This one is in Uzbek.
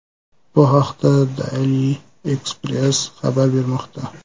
Bu haqda Daily Express xabar bermoqda .